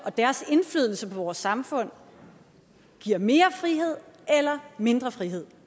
og deres indflydelse på vores samfund giver mere frihed eller mindre frihed